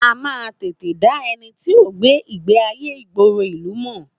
A man tètè dá ẹni tí o gbé ìgbéayé ìgboro ìlú mọ